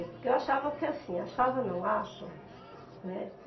Porque eu achava que assim, achava não, acho, né.